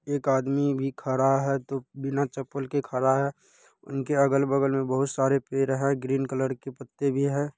एक आदमी भी खड़ा है। तो बीना चप्पल के खड़ा है। इनके अगल-बगल में बहुत सारे पेड़ हैं ग्रीन कलर के पत्ते भी हैं।